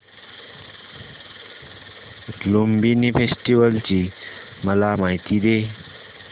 Lumbini festival ची मला माहिती दे